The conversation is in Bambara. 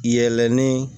Yɛlɛnni